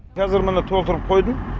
қазір міне толтырып қойдым